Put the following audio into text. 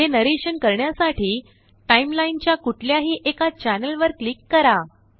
पुढील नरेशन करण्यासाठी टाइमलाइनच्या कुठल्याही एकाचैनल वर क्लिक करा